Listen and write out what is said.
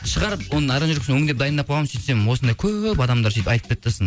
шығарып оның аранжировкасын өңдеп дайындап қойғанмын сөйтсем осындай көп адамдар сөйтіп айтып кетті